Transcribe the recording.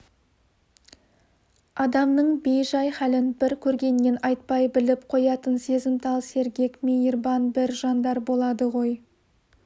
адамның бей-жай хәлін бір көргеннен айтпай біліп қоятын сезімтал сергек мейірбан бір жандар болады ғой